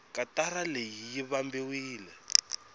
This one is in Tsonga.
katara leyi yi vambiwile